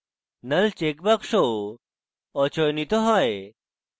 null checkbox অচয়নিত হয়